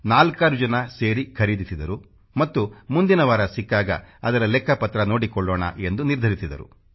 ನಾಲ್ಕಾರು ಜನ ಸೇರಿ ಖರೀದಿಸಿದರು ಮತ್ತು ಮುಂದಿನ ವಾರ ಸಿಕ್ಕಾಗ ಅದರ ಲೆಕ್ಕಪತ್ರ ನೋಡಿಕೊಳ್ಳೋಣ ಎಂದು ನಿರ್ಧರಿಸಿದರು